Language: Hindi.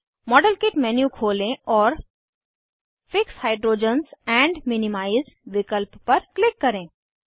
मॉडेलकिट मेन्यू खोलें और फिक्स हाइड्रोजेंस एंड मिनिमाइज विकल्प पर क्लिक करें